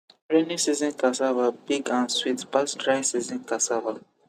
rainy season cassava big and sweet pass dry season cassava